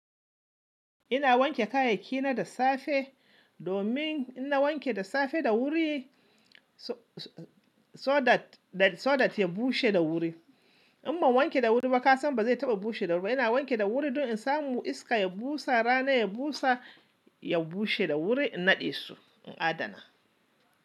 Ina wanke kayayyakina da safe domin in na wanke da safe da wuri so-so-so that, so that ya bushe da wuri. Amma in ban wanke da wuri ba ka san ba zai taba bushe da wuri ba. Ina wanke da wuri don in samu iska ya busa, rana ya busa, ya bushe da wuri in naɗe su, in adana.